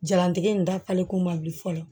Jalantigɛ in da kalikun man wuli fɔlɔ